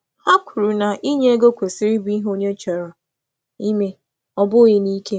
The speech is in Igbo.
Ha kwuru na inye ego kwesịrị ịbụ ihe onye chọrọ ime, ọ bụghị n’ike.